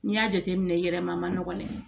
N'i y'a jateminɛ yɛrɛma a ma nɔgɔn dɛ